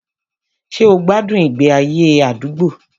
Ṣé o gbádùn ìgbé ayé àdúgbò?